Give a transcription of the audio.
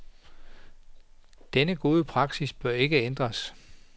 Denne gode praksis bør ikke ændres.